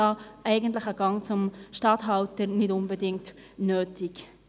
Dafür ist eigentlich ein Gang zum Statthalter nicht unbedingt nötig.